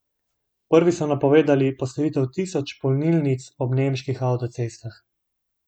Prvi so napovedali postavitev tisoč polnilnic ob nemških avtocestah.